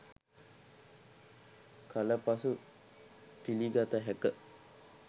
කල පසු පිළිගත හැක.